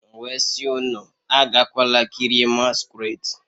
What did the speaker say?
M wee sị unu agakwala kirie masquerade